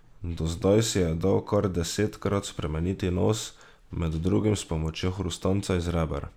Do zdaj si je dal kar desetkrat spremeniti nos, med drugim s pomočjo hrustanca iz reber.